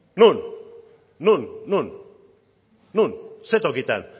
non ze tokitan